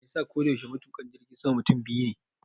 Meyasa koda yaushe matuƙa jirgin sama mutum biyu ne?